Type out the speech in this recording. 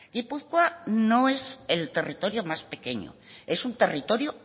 gipuzkoa no es el territorio más pequeño es un territorio